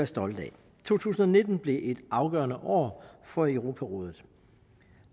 stolte af to tusind og nitten bliver et afgørende år for europarådet